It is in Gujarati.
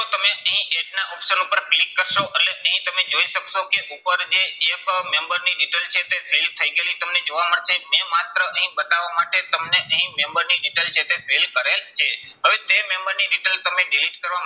તમે અહીં age ના option ઉપર click કરશો એટલે અહીં તમે જોઈ શકશો કે ઉપર જે એક member ની detail છે તે fill થઇ ગયેલી તમને જોવા મળશે. મેં માત્ર અહીં બતાવા માટે તમને અહીં member ની detail છે તે fill કરેલ છે. હવે તે member ની detail તમે delete કરવા